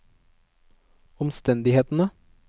omstendighetene